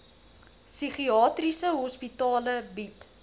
psigiatriese hospitale bied